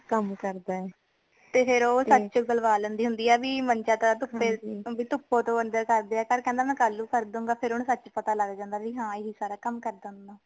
ਕਮ ਕਰਦਾ ਹੈ ਤੇ ਫੇਰ ਓ ਸੱਚ ਉਗਲਵਾ ਲੈਂਦੀ ਹੁੰਦੀ ਹੈ ਭੀ ਮੰਜਾ ਤੇ ਧੁੱਪੇ ਧੁਪੇ ਤੋਂ ਅੰਦਰ ਕਰ ਦਯਾ ਕਰ ਕਹਿੰਦਾ ਮੈ ਕਲ ਨੂ ਕਰ ਦੂੰਗਾ ਫੇਰ ਓਨੁ ਸੱਚ ਪਤਾ ਲੱਗ ਜਾਂਦਾ ਭੀ ਏ ਸਾਰਾ ਕਮ ਕਰਦਾ ਹੁੰਦਾ